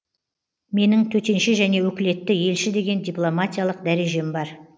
менің төтенше және өкілетті елші деген дипломатиялық дәрежем бар